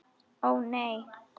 Ó, nei!